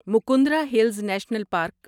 Mukundra Hills National park